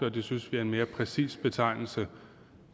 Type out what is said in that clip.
og det synes vi er en mere præcis betegnelse